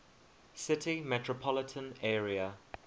city metropolitan area